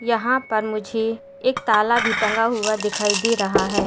यहां पर मुझे एक ताला भी टंगा हुआ दिखाई दे रहा है।